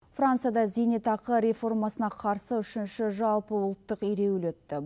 францияда зейнетақы реформасына қарсы үшінші жалпы ұлттық ереуіл өтті